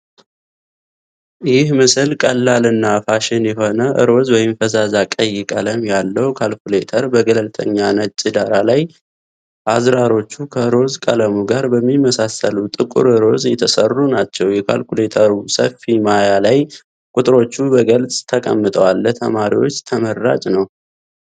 ይህ ምስል ቀላል እና ፋሽን የሆነ፣ ሮዝ (ፈዛዛ ቀይ) ቀለም ያለው ካልኩሌተር በገለልተኛ ነጭ ዳራ ላይ፣ አዝራሮቹ ከሮዝ ቀለሙ ጋር በሚመሳሰሉ ጥቁር ሮዝ የተሠሩ ናቸው። የካልኩሌተሩ ሰፊ ማያ ላይ ቁጥሮቹ በግልጽ ተቀምጠዋል፣ ለተማሪዎች ተመራጭ ነው።